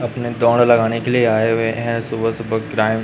अपने दौड़ लगाने के लिए आए हुए हैं सुबह सुबह ग्राइम--